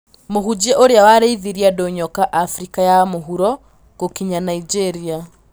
Mũhunjia ũrĩa warĩithirie andũ nyoka Afrika ya mũhuro, gũkinya Naijĩria.